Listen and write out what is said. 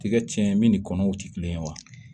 Tigɛ tiɲɛ min ni kɔnɔw ti kelen ye wa